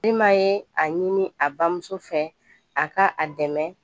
Iima ye a ɲini a bamuso fɛ a ka a dɛmɛ